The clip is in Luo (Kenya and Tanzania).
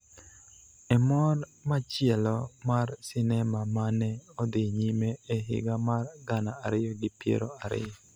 e mor machielo mar sinema ma ne odhi nyime e higa mar gana ariyi gi piero ariyo.